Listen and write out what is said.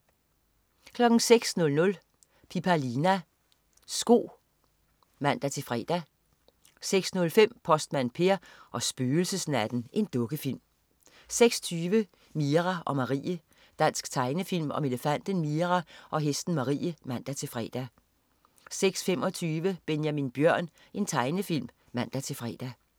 06.00 Pipalina. Sko (man-fre) 06.05 Postmand Per og spøgelsesnatten. Dukkefilm 06.20 Mira og Marie. Dansk tegnefilm om elefanten Mira og hesten Marie (man-fre) 06.25 Benjamin Bjørn. Tegnefilm (man-fre)